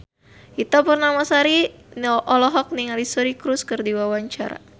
Ita Purnamasari olohok ningali Suri Cruise keur diwawancara